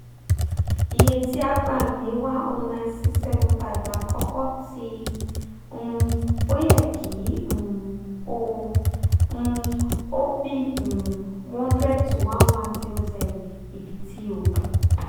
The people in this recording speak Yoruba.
iye ti a gba ni one hundred nine thousand six hundred seventy five lakoko ti um o yẹ ki um o um o b um one hundred - one thousand one hundred ibiti o